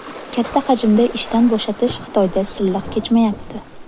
Katta hajmda ishdan bo‘shatish Xitoyda silliq kechmayapti.